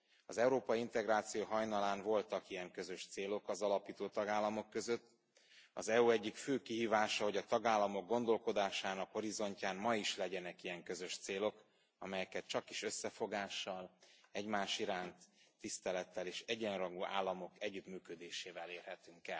Az európai integráció hajnalán voltak ilyen közös célok az alapító tagállamok között, az EU egyik fő kihívása, hogy a tagállamok gondolkodásának horizontján ma is legyenek ilyen közös célok, amelyeket csakis összefogással, egymás iránti tisztelettel és egyenrangú államok együttműködésével érhetünk